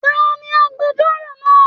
Taní agbẹ̀jọ́ro náà?